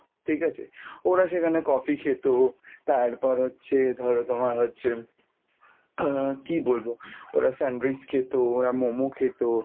ঠিক আছে? ওরা সেখানে coffee খেতো, তারপর হচ্ছে ধরো তোমার হচ্ছে আহ কি বলবো? ওরা sandwich খেতো ওরা momo খেতো